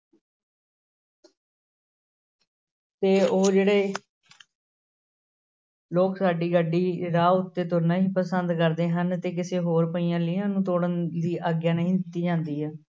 ਤੇ ਉਹ ਜਿਹੜੇ ਲੋਕ ਸਾਡੀ ਗੱਡੀ ਰਾਹ ਉੱਤੇ ਤੁਰਨਾ ਹੀ ਪਸੰਦ ਕਰਦੇ ਹਨ ਤੇ ਕਿਸੇ ਹੋਰ ਪਈਆਂ ਲੀਹਾਂ ਨੂੰ ਤੋੜਨ ਦੀ ਆਗਿਆ ਨਹੀਂ ਦਿੱਤੀ ਜਾਂਦੀ ਆ।